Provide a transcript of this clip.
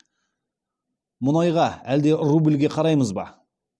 мұнайға әлде рубльге қараймыз ба